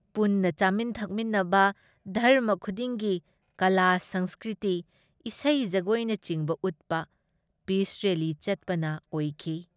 ꯄꯨꯟꯅ ꯆꯥꯃꯤꯟ ꯊꯛꯃꯤꯟꯅꯕ, ꯙꯔꯃ ꯈꯨꯗꯤꯡꯒꯤ ꯀꯂꯥ ꯁꯪꯁꯀ꯭ꯔꯤꯇꯤ ꯏꯁꯩ ꯖꯒꯣꯏꯅꯆꯤꯡꯕ ꯎꯠꯄ, ꯄꯤꯁ ꯔꯦꯜꯂꯤ ꯆꯠꯄꯅ ꯑꯣꯏꯈꯤ ꯫